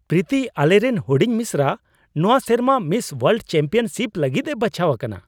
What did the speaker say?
ᱯᱨᱤᱛᱤ ! ᱟᱞᱮᱨᱮᱱ ᱦᱩᱰᱤᱧ ᱢᱤᱥᱨᱟ ᱱᱚᱣᱟ ᱥᱮᱨᱢᱟ ᱢᱤᱥ ᱳᱣᱟᱨᱞᱰ ᱪᱮᱢᱯᱤᱭᱚᱱᱥᱤᱯ ᱞᱟᱹᱜᱤᱫᱼᱮ ᱵᱟᱪᱷᱟᱣ ᱟᱠᱟᱱᱟ !